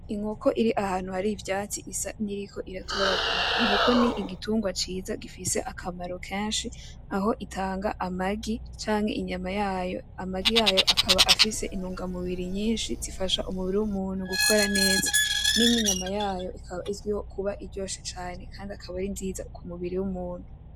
Inkoko iri ahantu hari ivyatsi isa n'iyiriko iratoragura. Inkoko ni igitungwa ciza gifise akamaro kenshi aho itanga amagi, canke inyama yayo. Amagi yayo akaba afise intungamubiri nyinshi zifasha umubiri w'umuntu gukora neza. N'inyama yayo ikaba iryoshe cane kandi ikaba ari nziza ku mubiri w'umuntu.